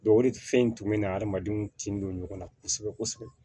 o de fɛn in tun bɛ n'a adamadenw tin don ɲɔgɔnna kosɛbɛ kosɛbɛ